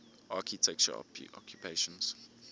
architecture occupations